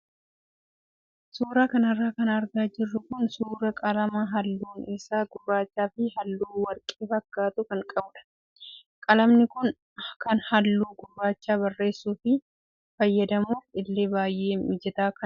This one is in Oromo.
Suuraa kanarra kan argaa jirru kun suuraa qalama halluun isaa gurraachaa fi halluu warqee fakkaatu kan qabudha. Qalamni kun kan halluu gurraacha barreessuu fi fayyadamuuf illee baay'ee mijataa kan ta'edha.